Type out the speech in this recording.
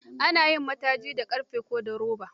Ana yin mataji da ƙarfe ko da roba.